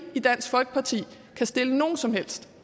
i dansk folkeparti kan stille nogen som helst